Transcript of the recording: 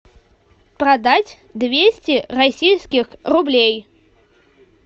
продать двести российских рублей